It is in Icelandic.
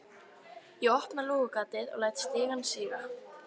Ég opna lúgugatið og læt stigann síga.